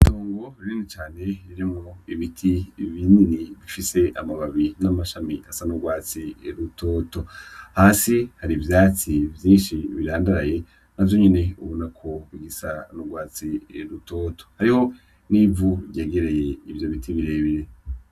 Itongo rinini cane ririmwo ibiti binini bifise amababi n'amashami asa n'ugwatsi rutoto, hasi hari ivyatsi vyinshi birandaraye navyo nyene ubona ko bita n'ugwatsi rutoto hariho n'ivu ryegereye ivyo biti birebire.